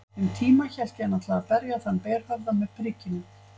Um tíma hélt ég hann ætlaði að berja þann berhöfðaða með prikinu.